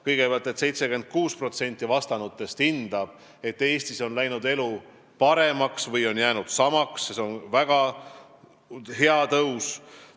Kõigepealt, 76% vastanute hinnangul on elu Eestis läinud paremaks või jäänud samaks – see on väga hea tõus.